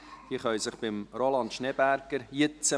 Diese Personen können sich jetzt bei Roland Schneeberger melden;